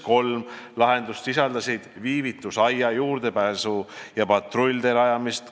Kolm lahendust sisaldasid viivitusaia, juurdepääsu- ja patrulltee rajamist.